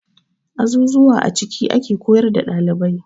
Azuzuwa a ciki ake koyar da ɗalibai.